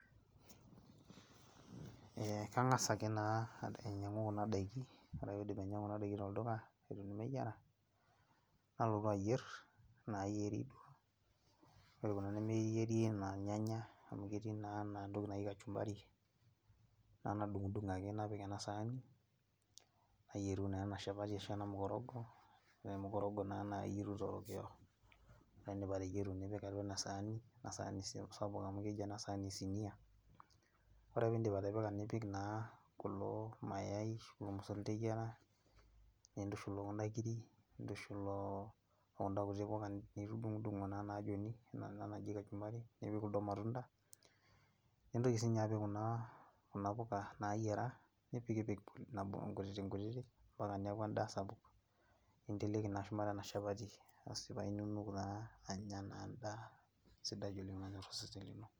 Eeh kangas ake naa ainyangu kuna daiki , wore ake paidim ainyangu kuna daiki tolduka , nalotu aayier naayieri , wore kuna nemeyieri anaa irnyanya amu ketii naa enatoki naji kachumbari, nalo adungdung ake napik enasaani, nayieru ana shapati ashu ena mukorongo, wore mukorongo naa naa iyeru torokio. Wore ake peyie idip ateyeru nipik atua enasaani, enasaani sapuk amu keji enasaani esinia, wore ake peyie idip atipika, nipik naa kulo mayayi ooyiera, nintushul ookuna kiri, nintushul ookuna kuti puka nitudungdungo naa naajoni kuna naa naji kachumbari ookuldo matunda nintoki siininye apik kuna puka naayiera nipikipik nabo inkutitikutik empaka niaku endaa sapuk, ninteleki naa shumata enashapati, aasi paa inunuk naa anya naa endaa sidai oleng nanyor osesen.